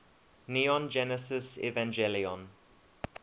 neon genesis evangelion